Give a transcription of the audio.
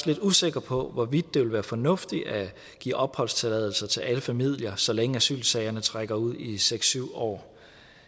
lidt usikker på hvorvidt det vil være fornuftigt at give opholdstilladelse til alle familier så længe asylsagerne trækker ud i seks syv år